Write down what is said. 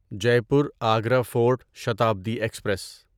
Jaipur Agra fort Shatabdi express